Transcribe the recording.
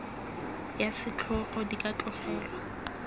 ya setlhogo di ka tlogelwa